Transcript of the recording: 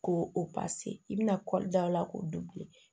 Ko o pase i bɛna kɔɔri da o la k'o